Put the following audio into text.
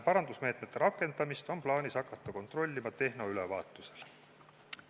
Parandusmeetmete rakendamist on plaanis hakata kontrollima tehnoülevaatusel.